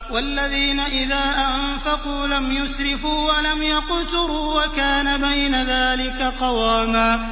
وَالَّذِينَ إِذَا أَنفَقُوا لَمْ يُسْرِفُوا وَلَمْ يَقْتُرُوا وَكَانَ بَيْنَ ذَٰلِكَ قَوَامًا